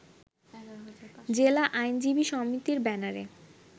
জেলা আইনজীবী সমিতির ব্যানারে